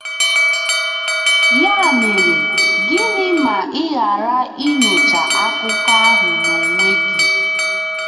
Ya mere, gịnị ma ị ghara inyocha akụkọ ahụ n'onwe gị?